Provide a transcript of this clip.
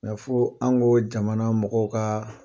fo an ko jamana mɔgɔw ka